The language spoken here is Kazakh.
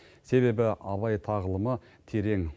себебі абай тағылымы терең